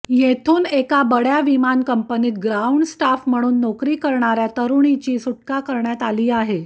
येथून एका बड्या विमान कंपनीत ग्राउंड स्टाफ म्हणून नोकरी करणाऱ्या तरुणीची सुटका करण्यात आली आहे